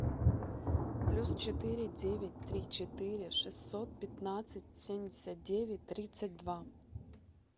плюс четыре девять три четыре шестьсот пятнадцать семьдесят девять тридцать два